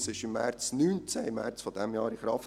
Das Gesetz trat im März 2019 in Kraft.